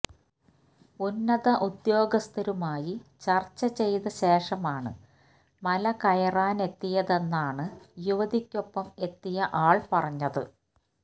ഉന്നത ഉദ്യോഗസ്ഥരുമായി ചർച്ച ചെയ്ത ശേഷമാണ് മല കയറാനെത്തിയതെന്നാണ് യുവതിക്കൊപ്പം എത്തിയ ആൾ പറഞ്ഞത്